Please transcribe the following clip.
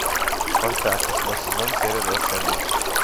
спартак восьмой сезон серия двадцать один